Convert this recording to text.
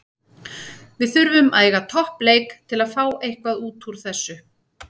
Við þurfum að eiga topp leik til að fá eitthvað útúr þessu.